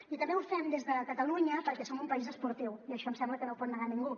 i també ho fem des de catalunya perquè som un país esportiu i això em sembla que no ho pot negar ningú